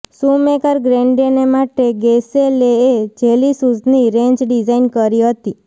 Shoemaker ગ્રેન્ડેને માટે ગિસેલેએ જેલી શૂઝની રેંજ ડિઝાઇન કરી હતી